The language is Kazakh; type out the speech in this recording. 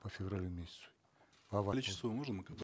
по февралю месяцу количество можно мы как бы